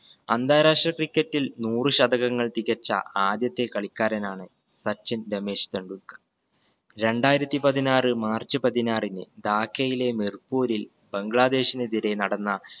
അന്താരാഷ്ട്ര cricket ഇൽ നൂറ് ശതകങ്ങൾ തികച്ച ആദ്യത്തെ കളിക്കാരനാണ് സച്ചിൻ രമേശ് ടെണ്ടുൽക്കർ. രണ്ടായിരത്തി പതിനാറ് മാർച്ച് പതിനാറിന് ധാക്കയിലെ മിർപൂരിൽ ബംഗ്ലാദേശിനെതിരെ നടന്ന